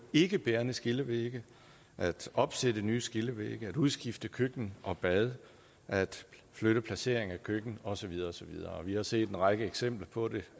ikkebærende skillevægge at opsætte nye skillevægge at udskifte køkken og bad at flytte placering af køkken og så videre og så videre vi har set en række eksempler på det